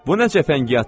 Bu nə cəfəngiyatdır?